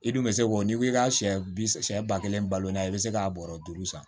I dun bɛ se k'o n'i ko i ka siyɛ bi siyɛ ba kelen balo la i bɛ se k'a bɔrɔ duuru san